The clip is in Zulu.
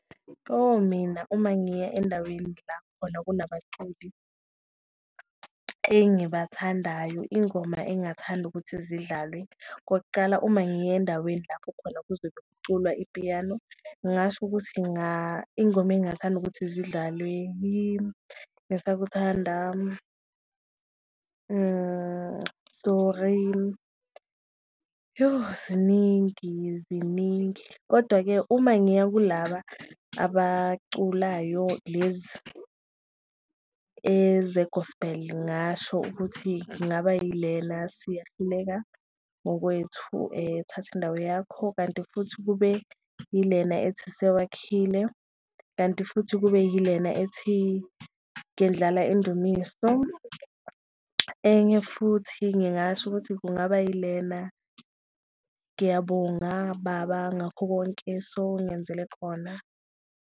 Oh mina uma ngiya endaweni la khona kunabaculi engibathandayo, ingoma engathanda ukuthi zidlalwe, okokucala uma ngiya endaweni lapho khona okuzobe kuculwa ipiyano, ngingasho ukuthi ingoma engathanda ukuthi zidlalwe, yingisakuthanda, sorry, yoh ziningi ziningi. Kodwa-ke uma ngiyakulaba abaculayo lezi eze-gospel ngasho ukuthi kungaba yilena, siyahluleka ngokwethu thatha indawo yakho, kanti futhi kube yilena ethi sewakhile, kanti futhi kube yilena ethi, ngendlala indumiso. Enye futhi ngingasho ukuthi kungaba yilena, ngiyabonga baba ngakho konke sowungenzele khona.